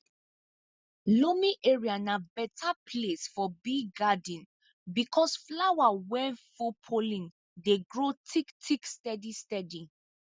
loamy area na better place for bee garden because flower wey full pollen dey grow thick thick steady steady